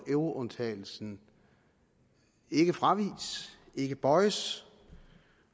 euroundtagelsen ikke fraviges ikke bøjes